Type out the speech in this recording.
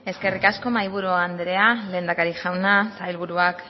eskerrik asko mahaiburu andrea lehendakari jauna sailburuak